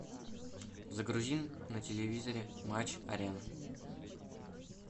загрузи на телевизоре матч арена